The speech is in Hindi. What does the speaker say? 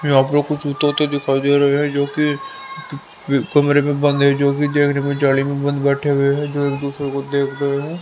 यहां पर कुछ तोते दिखाई दे रहे हैं जो कि कमरे में बंद है जो कि देखने में जाली में बंद बैठे हुए हैं जो एक दूसरे को देख रहे हैं।